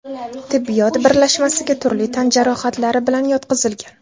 tibbiyot birlashmasiga turli tan jarohatlari bilan yotqizilgan.